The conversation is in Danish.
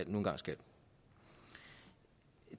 nu engang skal